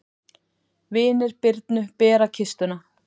Vinir Birnu bera kistuna.